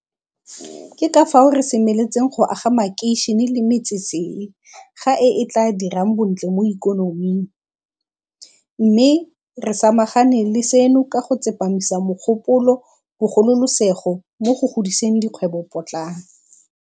Ke ka fao re semeletseng go aga makeišene le metsesele ga e e e tla dirang bontle mo ikonoming, mme re sama gane le seno ka go tsepamisa mogopolo bogolosegolo mo go godiseng dikgwebo potlana.